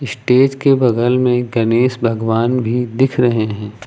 Stage के बगल में गणेश भगवान भी दिख रहे हैं।